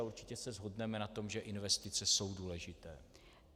A určitě se shodneme na tom, že investice jsou důležité.